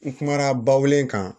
N kumana ba wolo in kan